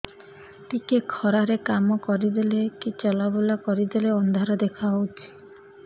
ଟିକେ ଖରା ରେ କାମ କରିଦେଲେ କି ଚଲବୁଲା କରିଦେଲେ ଅନ୍ଧାର ଦେଖା ହଉଚି